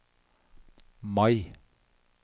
Mai